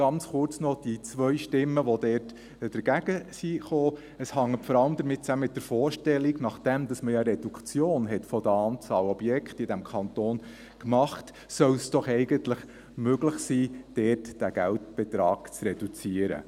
Ganz kurz noch: Die zwei Stimmen, die dort dagegen waren, hängen vor allem mit der Vorstellung zusammen, dass es, nachdem man ja eine Reduktion der Anzahl Objekte in diesem Kanton gemacht hat, doch eigentlich möglich sein sollte, dort diesen Geldbetrag zu reduzieren.